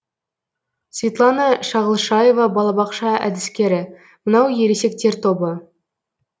светлана шағылшаева балабақша әдіскері мынау ересектер тобы